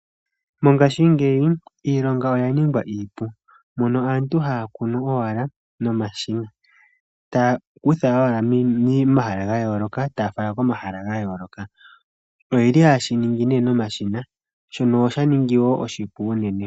Mongashingeyi iilonga oya ningwa iipu mono aantu haya kunu owala nomashina. Otaya kutha momahala ga yooloka ta ya fala komahala ga yooloka. Oye li haye shi ningi nomashina, shono osha ningi wo oshipu unene.